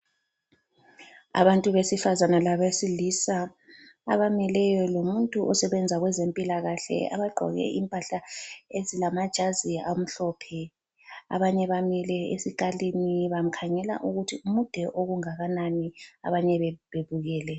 Abantu besifazane labesilisa abamileyo lomuntu osebenza kwezempilakahle abagqoke impahla ezilamajazi amhlophe. Abanye bamile esikalini bamkhangela ukuthi mude okungakanani abanye bebukele.